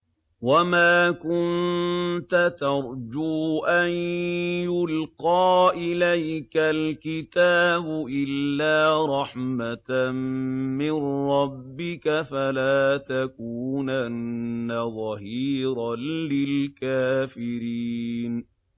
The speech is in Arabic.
وَمَا كُنتَ تَرْجُو أَن يُلْقَىٰ إِلَيْكَ الْكِتَابُ إِلَّا رَحْمَةً مِّن رَّبِّكَ ۖ فَلَا تَكُونَنَّ ظَهِيرًا لِّلْكَافِرِينَ